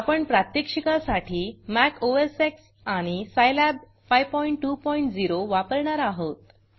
आपण प्रात्यक्षिकासाठी मॅक osएक्स आणि सिलाब 520 वापरणार आहोत